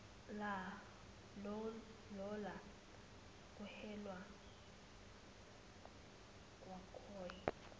lola kuhelwa kwakhoi